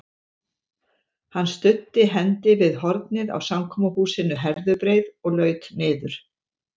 Hann studdi hendi við hornið á samkomuhúsinu Herðubreið og laut niður.